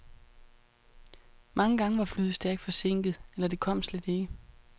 Mange gange var flyet stærkt forsinket, eller det kom slet ikke.